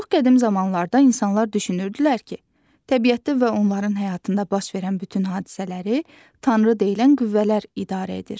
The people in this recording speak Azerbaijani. Çox qədim zamanlarda insanlar düşünürdülər ki, təbiətdə və onların həyatında baş verən bütün hadisələri tanrı deyilən qüvvələr idarə edir.